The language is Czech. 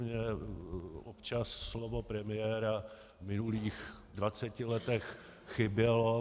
Mně občas slovo premiéra v minulých 20 letech chybělo.